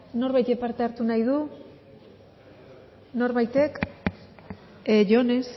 norbaitek parte hartu nahi du norbaitek jon ez